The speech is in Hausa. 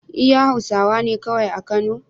iya hausawane kawai a kano